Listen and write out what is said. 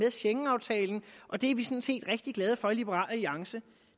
af schengenaftalen og det er vi sådan set rigtig glade for i liberal alliance